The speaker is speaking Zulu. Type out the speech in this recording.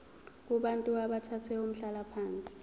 kubantu abathathe umhlalaphansi